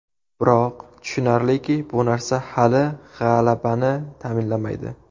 Biroq, tushunarliki, bu narsa hali g‘alabani ta’minlamaydi.